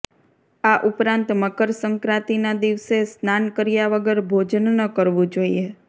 આ ઉપરાંત મકર સંક્રાંતિના દિવસે સ્નાન કર્યા વગર ભોજન ન કરવું જોઇએ